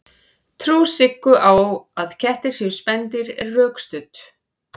trú siggu á að kettir séu spendýr er rökstudd